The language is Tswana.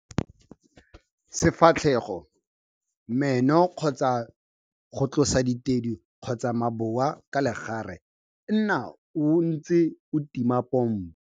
Sefatlhego, meno kgotsa o tlosa ditedu kgotsa maboa ka legare, nna o ntse o tima pompo.